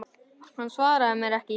Hann svaraði mér ekki.